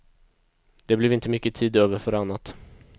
Det blev inte mycket tid över för annat.